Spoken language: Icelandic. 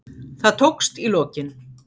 Það tókst í lokin.